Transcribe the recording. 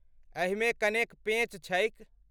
एहिमे कनेक पेंच छैक।